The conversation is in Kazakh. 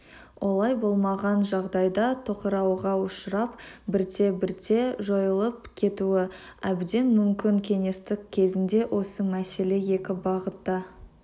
олай болмаған жағдайда тоқырауға ұшырап бірте-бірте жойылып кетуі әбден мүмкін кеңестік кезеңде осы мәселе екі бағытта